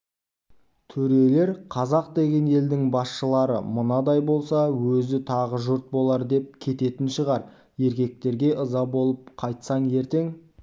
төрелер қазақ деген елдің басшылары мынадай болса өзі тағы жұрт болар деп кететін шығар еркектерге ыза болып қайтсаң ертең